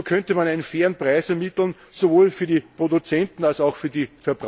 So könnte man einen fairen Preis ermitteln, sowohl für die Produzenten als auch für die